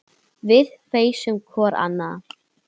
Við feisum hvor ann